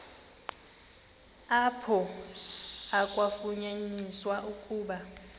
apho kwafunyaniswa ukuba